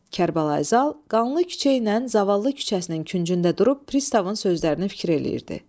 Kərbəlayı Zal qanlı küçəylə zavallı küçəsinin küncündə durub Pristavın sözlərini fikir eləyirdi.